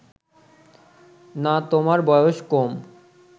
না তোমার বয়স কম